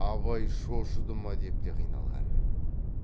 абай шошыды ма деп те қиналған